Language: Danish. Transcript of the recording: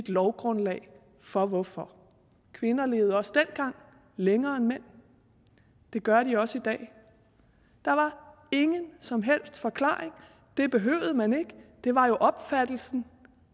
lovgrundlaget for hvorfor kvinder levede også dengang længere end mænd det gør de også i dag der var ingen som helst forklaring det behøvede man ikke det var jo opfattelsen